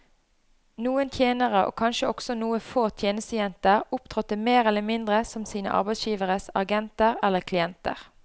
Noen tjenere, og kanskje også noen få tjenestejenter, opptrådte mer eller mindre som sine arbeidsgiveres agenter eller klienter.